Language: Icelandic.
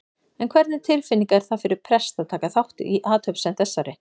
En hvernig tilfinning er það fyrir prest að taka þátt í athöfn sem þessari?